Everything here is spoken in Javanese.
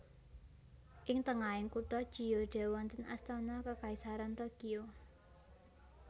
Ing tengahing kutha Chiyoda wonten Astana Kekaisaran Tokyo